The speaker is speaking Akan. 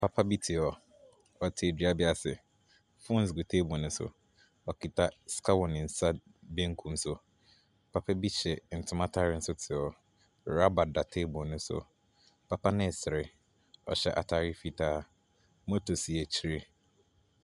Papa bi te hɔ. Ɔte dua bi ase, phones gu table no so. Okita sika wɔ ne nsa benkum so. Papa bi hyɛ ntoma ataareɛ nso te hɔ. Rubber da table no so. Papa no resere, ɔhyɛ ataare. Motor si akyiri.